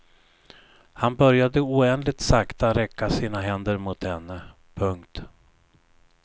Han började oändligt sakta räcka sina händer mot henne. punkt